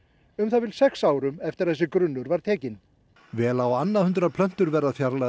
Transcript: um það bil sex árum eftir að þessi grunnur var tekinn vel á annað hundrað plöntur verða fjarlægðar